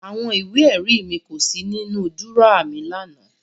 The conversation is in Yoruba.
Àwọn ìwé-ẹ̀rí mi kò sí nínú dúrọ́à mi lánàá.